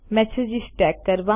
messages tag કરવા